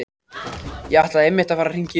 Ég ætlaði einmitt að fara að hringja í þig.